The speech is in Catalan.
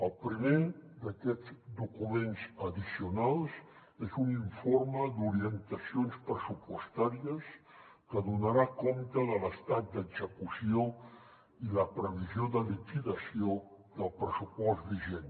el primer d’aquests documents addicionals és un informe d’orientacions pressupostàries que donarà compte de l’estat d’execució i la previsió de liquidació del pressupost vigent